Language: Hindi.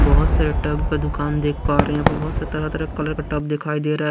बहुत सारे टब का दुकान देख पा रहे हैं यहाँ पर बहुत सारे तरह-तरह कलर का टब दिखाई दे रहा है।